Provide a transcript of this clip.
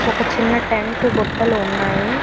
ఒక చిన్న టెంట్ బుట్టలు ఉన్నాయి.